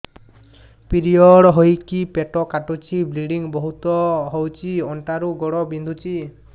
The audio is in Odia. ପିରିଅଡ଼ ହୋଇକି ପେଟ କାଟୁଛି ବ୍ଲିଡ଼ିଙ୍ଗ ବହୁତ ହଉଚି ଅଣ୍ଟା ରୁ ଗୋଡ ବିନ୍ଧୁଛି